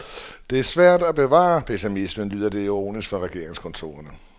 Det er svært at bevare pessimismen, lyder det ironisk fra regeringskontorerne.